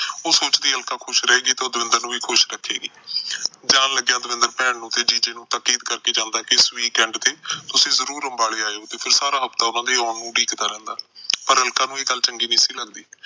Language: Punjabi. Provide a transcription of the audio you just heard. ਉਸ ਸੋਚਦੀ ਅਲਕਾ ਖੁਸ਼ ਰਹੇਗੀ ਤਾਂ ਦਵਿੰਦਰ ਨੂੰ ਵੀ ਖੁਸ਼ ਰੱਖੇਗੀ। ਜਾਣ ਲੱਗਿਆ ਦਵਿੰਦਰ ਭੈਣ ਨੂੰ ਤੇ ਜੀਜੇ ਨੂੰ ਕਰਕੇ ਜਾਂਦਾ ਕਿ ਇਸ weekend ਤੁਸੀਂ ਜਰੂਰ ਅੰਬਾਲੇ ਆਇਓ ਤੇ ਸਾਰਾ ਹਫਤਾ ਉਹਨਾਂ ਨੂੰ ਉਡੀਕਦਾ ਰਹਿੰਦਾ। ਪਰ ਅਲਕਾ ਨੂੰ ਇਹ ਗੱਲ ਚੰਗੀ ਨਹੀਂ ਸੀ ਲੱਗਦੀ।